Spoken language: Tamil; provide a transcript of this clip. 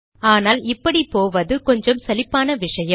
ஆனால் இப்படி போவது கொஞ்சம் சலிப்பான விஷயம்